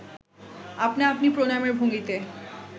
আপনা আপনি প্রণামের ভঙ্গিতে